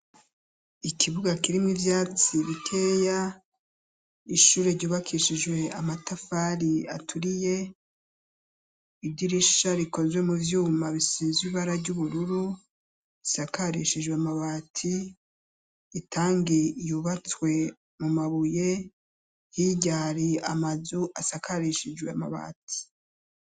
Ikibuga kirimwe ivyatsi bikeya, ishure ryubakishijwe amatafari aturiye, idirisha rikozwe mu vyuma bisizwe ibara ry'ubururu, isakarishijwe amabati, itangiye iyubatswe mu mabuye, higa ari amazu asakarishijwe amabatsi.